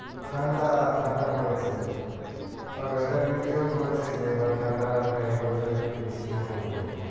ঠান্ডা ঠান্ডা পড়েছে আর weather news এও বলছে যে এবার ঠান্ডাটা এই বছরে একটু বেশিই পড়বে।